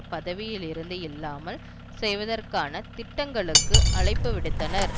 பதவியிலிருந்து இல்லாமல் செய்வதற்கான திட்டங்களுக்கு அழைப்பு விடுத்தனர்